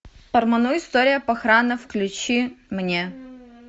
парману история похрана включи мне